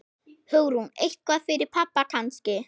Hugrún: Eitthvað fyrir pabba kannski?